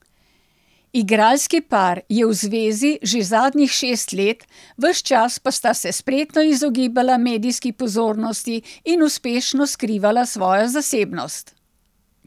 Igralski par je v zvezi že zadnjih šest let, ves čas pa sta se spretno izogibala medijski pozornosti in uspešno skrivala svojo zasebnost.